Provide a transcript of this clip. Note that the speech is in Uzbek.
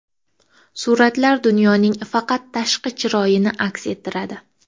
Suratlar dunyoning faqat tashqi chiroyini aks ettiradi.